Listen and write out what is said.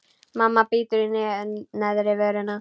Mamma bítur í neðri vörina.